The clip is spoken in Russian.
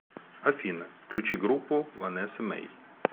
афина включи группу ванэсса мэй